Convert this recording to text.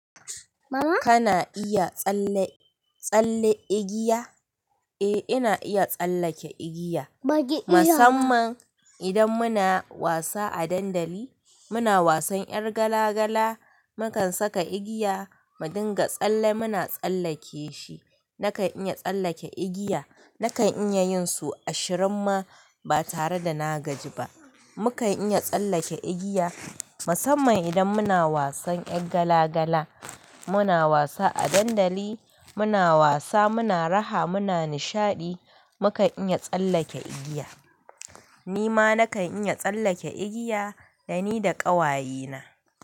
Kana iya tsalle, tsalle igiya? Eh, ina iya tsallake igiya. Musamman idan muna wasa a dandali, muna wasan ƴar gala gala, mukan saka igiya, mu dinga tsalle muna tsallake shi. Nakan iya tsallake igiya. Nakan iya yin su ashirin ma ba tare da na gaji ba. Mukan iya tsallake igiya musamman idan muna wasan ƴar gala gala. Muna wasa a dandali, muna wasa, muna raha, muna nishaɗi, mu kan iya tsallake igiya. Ni ma nakan iya tsallake igiya dani da ƙawaye na.